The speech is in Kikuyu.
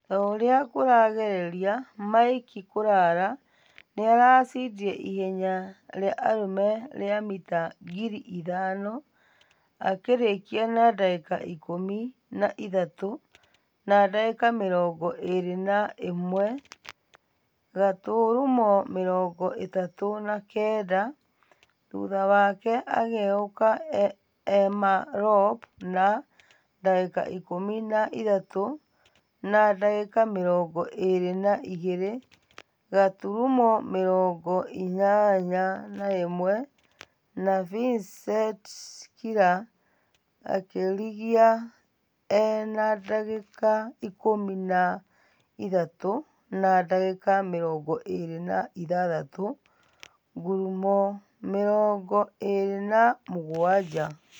Tũria kũragereria mike kalala nĩarachindire ihenya rĩa arũme rĩa mita ngiri ithano akĩrekia na dagĩka ikũmi na ithatũ na dagika mirongo erĩ na ĩmwe gaturumo mĩrongo ĩtatũ na kenda, thutha wake ageũka emma rop na dagika ikũmi na ithatũ na dagĩka mirongo ĩrĩ na igĩrĩ gaturumo mĩrongo inyanya na ĩmwe na vincet kila akĩrigia e na dagĩka ikũmi na ithatũ na dagika mĩrongo ĩrĩ na ithathatũ gaturumo mĩrongo ĩrĩ na mũgwaja.